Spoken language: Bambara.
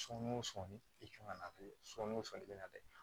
Sɔni o sɔnni i kan ka na bilen sɔɔni o sɔngɔ bɛ na bɛn